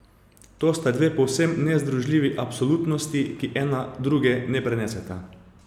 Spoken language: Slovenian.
To sta dve povsem nezdružljivi absolutnosti, ki ena druge ne preneseta.